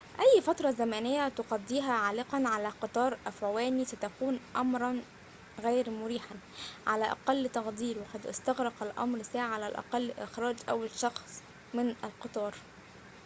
أي فترة زمنية تقضيها عالقًا على قطار أفعواني ستكون أمراً غير مريحاً على أقل تقدير وقد استغرق الأمر ساعة على الأقل لإخراج أول شخص من القطار